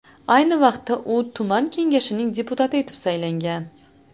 Ayni vaqtda u tuman kengashining deputati etib saylangan.